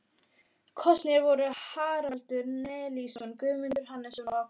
Kosnir voru Haraldur Nielsson, Guðmundur Hannesson og Ágúst Bjarnason.